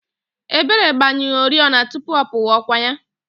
Ebere gbanyụrụ oriọna tupu ọ pụwa, ọ kwa ya?